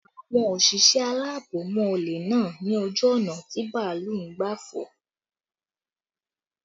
Àwọn òṣìṣẹ́ alaabo mú olè náà ni ojú ọ̀nà tí bàálù ń gbà fò